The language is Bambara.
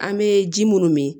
An bɛ ji munnu min